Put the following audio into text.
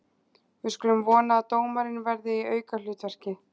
Við skulum vona að dómarinn verði í aukahlutverki.